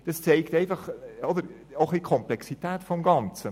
Das zeigt die Komplexität des Ganzen.